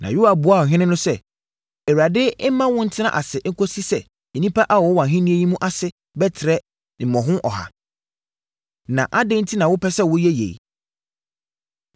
Na Yoab buaa ɔhene no sɛ, “ Awurade mma wo ntena ase kɔsi sɛ nnipa a wɔwɔ wʼahennie yi mu ase bɛtrɛ mmɔho ɔha. Na adɛn enti na wopɛ sɛ woyɛ yei?”